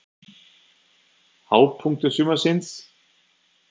Hápunktur sumarsins?